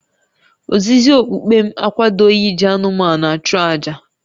Ozizi okpukpe m akwadoghị iji anụmanụ achụ àjà